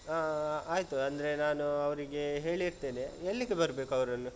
ಹಾ ಆಯ್ತು. ಅಂದ್ರೆ ನಾನು ಅವ್ರಿಗೆ ಹೇಳಿರ್ತೇನೆ ಎಲ್ಲಿಗೆ ಬರ್ಬೇಕು ಅವರನ್ನು?